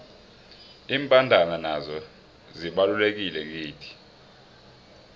imbandana nazo zibalulekile kithi